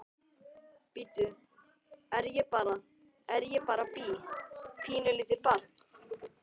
Bíddu, er ég bara, er ég bara bí, pínulítið barn?